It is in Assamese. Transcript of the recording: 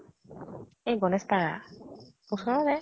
এ গনেশ পাৰা । ওচৰৰে।